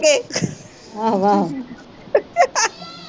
ਆਹ ਆਹ